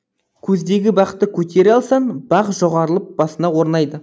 көздегі бақты көтере алсаң бақ жоғарылап басыңа орнайды